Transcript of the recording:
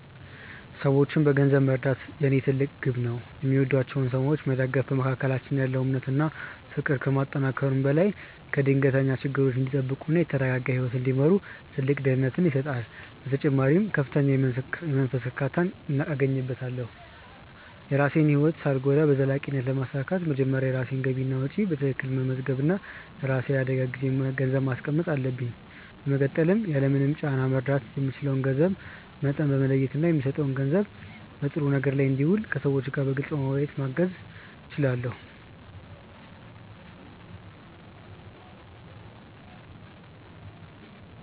ሰዎችን በገንዘብ መርዳት የኔ ትልቅ ግብ ነው። የሚወዷቸውን ሰዎች መደገፍ በመካከላችን ያለውን እምነት እና ፍቅር ከማጠናከሩ በላይ ከድንገተኛ ችግሮች እንዲጠበቁ እና የተረጋጋ ህይወት እንዲመሩ ትልቅ ደህንነትን ይሰጣል። በተጨማሪም ከፍተኛ የመንፈስ እርካታን አገኝበታለሁ። የራሴን ህይወት ሳልጎዳ በዘላቂነት ለማሳካት መጀመሪያ የራሴን ገቢና ወጪ በትክክል መመዝገብ እና ለራሴ የአደጋ ጊዜ ገንዘብ ማስቀመጥ አለብኝ። በመቀጠልም ያለምንም ጫና መርዳት የምችለውን የገንዘብ መጠን በመለየት እና የምሰጠው ገንዘብ በጥሩ ነገር ላይ እንዲውል ከሰዎቹ ጋር በግልፅ በመወያየት ማገዝ እችላለሁ።